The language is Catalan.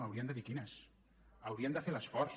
haurien de dir quines haurien de fer l’esforç